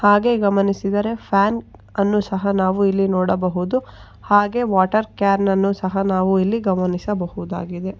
ಹಾಗೆ ಗಮನಿಸಿದರೆ ಫ್ಯಾನ್ ಅನ್ನು ಸಹ ನಾವು ಇಲ್ಲಿ ನೋಡಬಹುದು ಹಾಗೆ ವಾಟರ್ ಕ್ಯಾನನ್ನು ಸಹ ನಾವು ಇಲ್ಲಿ ಗಮನಿಸಬಹುದಾಗಿದೆ.